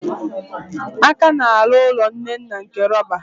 A ka na-arụ ụlọ Nnenna nke rọba.